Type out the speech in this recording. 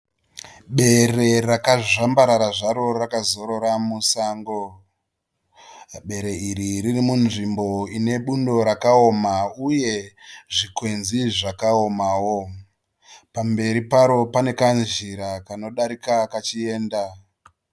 Bere rakazvambarara zvaro rakazorora musango. Bere iri riri munzvimbo inebundo rakawoma uye zvikwenzi zvakaomawo. Pamberi paro panekazhira kanodarika kachienda